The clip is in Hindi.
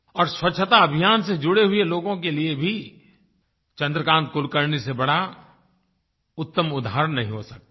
और स्वच्छता अभियान से जुड़े हुये लोगों के लिए भी चन्द्रकान्त कुलकर्णी से बड़ा उत्तम उदाहरण नहीं हो सकता है